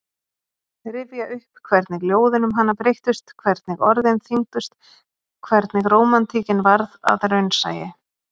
Rifja upp hvernig ljóðin um hana breyttust, hvernig orðin þyngdust, hvernig rómantíkin varð að raunsæi.